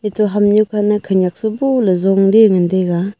eto hamnyu pana khenyak saboley yongley ngan taiga.